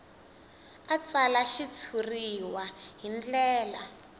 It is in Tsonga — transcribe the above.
a tsala xitshuriwa hi ndlela